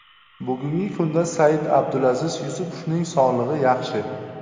Bugungi kunda Said-Abdulaziz Yusupovning sog‘lig‘i yaxshi.